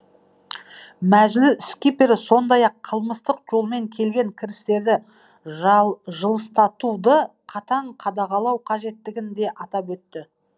мәжіліс сондай ақ қылмыстық жолмен келген кірістерді жылыстатуды қатаң қадағалау қажеттігін де атап өтті